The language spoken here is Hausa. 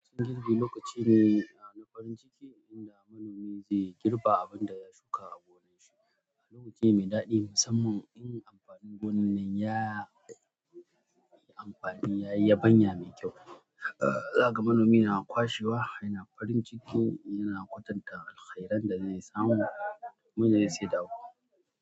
Wasan girbi lokaci ne na farin ciki inda manomi zai girba abin da ya shuka a gonan shi. Al'amurci mai daɗi musamman in amfanin gonan nan ya yi amfani ya yi ban ya mai kyau. Zaga manomi yana kwashewa, yana farin ciki yana kwatanta alkhairan da zai samu, kuma yana saida wuƙa.